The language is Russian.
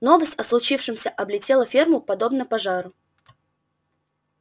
новость о случившемся облетела ферму подобно пожару